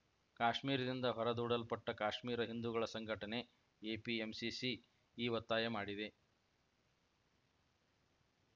ಕಾಶ್ಮೀರದಿಂದ ಹೊರ ದೂಡಲ್ಪಟ್ಟಕಾಶ್ಮೀರ ಹಿಂದೂಗಳ ಸಂಘಟನೆಎಪಿಎಂಸಿಸಿ ಈ ಒತ್ತಾಯ ಮಾಡಿದೆ